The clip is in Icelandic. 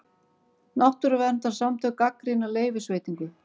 Náttúruverndarsamtök gagnrýna leyfisveitingu